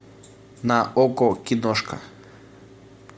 на окко киношка